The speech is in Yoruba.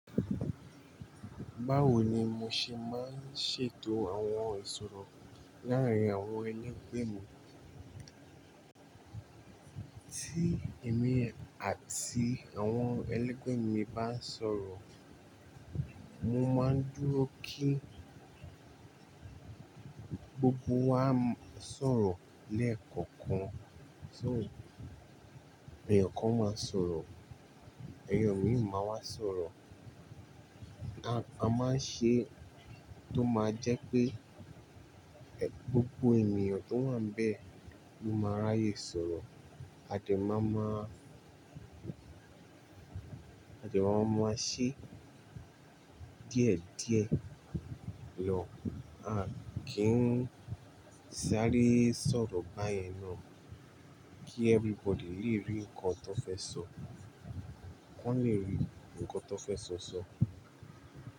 Báwo ni mo ṣe máa ń ṣètò àwọn ìṣòro láàárín àwọn ẹlẹ́gbẹ́ mi? Tí èmi àti àwọn ẹlẹ́gbẹ́ mi bá ń sọ̀rọ̀, mo máa ń dúró kí gbogbo wa sọ̀rọ̀ lẹ́ẹ̀kọ̀kan. So èèyàn kan máa sọ̀rọ̀, èèyàn mìí máa wá sọ̀rọ̀. A máa ń ṣe tó máa jẹ́ pé gbogbo ènìyàn tó wà níbẹ̀ ló máa ráyè sọ̀rọ̀. A de máa máa, a de máa máa ṣe díẹ̀ díẹ̀ lọ à kí ń sáré sọ̀rọ̀ báyẹn náà kí everybody lè rí nǹkan tó fẹ́ sọ, wọn lè rí nǹkan tó fẹ́ sọ sọ.